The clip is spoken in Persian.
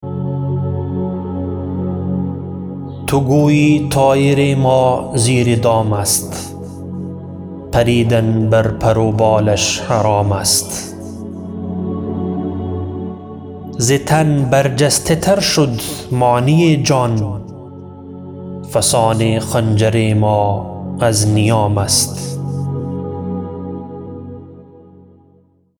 تو گویی طایر ما زیر دام است پریدن بر پر و بالش حرام است ز تن بر جسته تر شد معنی جان فسان خنجر ما از نیام است